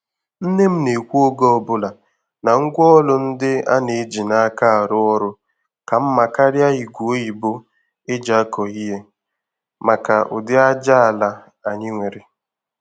Nne m na-ekwu oge ọbụla na ngwaọrụ ndị a na-eji n'aka arụ ọrụ ka mma karịa ígwè oyibo eji akọ ihe maka udi ájá ala anyị nwere.